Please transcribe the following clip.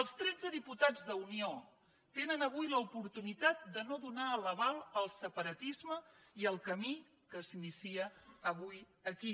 els tretze diputats d’unió tenen avui l’oportunitat de no donar l’aval al separatisme i al camí que s’inicia avui aquí